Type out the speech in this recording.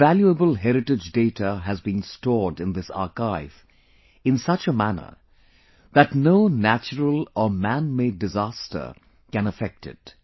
Invaluable heritage data has been stored in this archive in such a manner that no natural or man made disaster can affect it